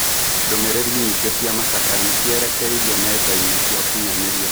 Ndũmĩ rĩ ri nyingĩ cĩ a macakaya nĩ cierekeirio nendainĩ cia ũkinyanĩ ria kũrũmĩ rĩ ra mohoro ma mũtino ũcio